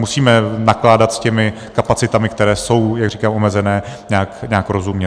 Musíme nakládat s těmi kapacitami, které jsou, jak říkám, omezené, nějak rozumně.